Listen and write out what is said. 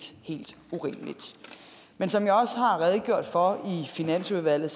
urimeligt men som jeg også har redegjort for i finansudvalget